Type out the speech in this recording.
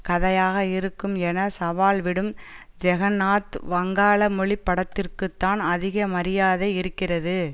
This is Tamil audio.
கதையாக இருக்கும் என சவால்விடும் ஜெகன்நாத் வஙகாள மொழி படத்திற்குதான் அதிக மரியாதை இருக்கிறது